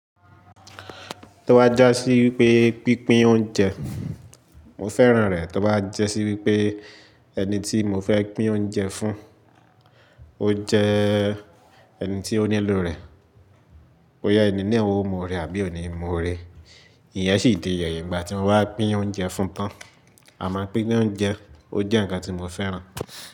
Tí ó bá já sí wípé pínpín oúnjẹ, mo fẹ́ràn rẹ̀. Tí ó bá jẹ́ sí wípé ẹni tí mo fẹ́ pín oúnjẹ fún, ó jẹ́ ẹni tí ó nílò rẹ̀. Ó yá ẹni ní ẹ̀wọ̀ mo rẹ àbí òní mo rè. Ìyẹn sì di ẹyìn ìgbà tí mo wá pín oúnjẹ fún tán. Àmọ́ pínpín oúnjẹ, ó jẹ́ ǹkan tí mo fẹ́ràn.